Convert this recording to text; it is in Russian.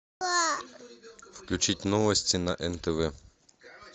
включить новости на нтв